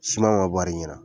Siman man bari ɲina.